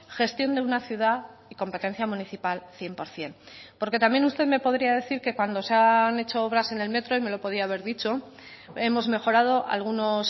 gestión de una ciudad y competencia municipal cien por ciento porque también usted me podría decir que cuando se han hecho obras en el metro y me lo podía haber dicho hemos mejorado algunos